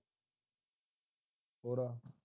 ਹੋਰ ਆ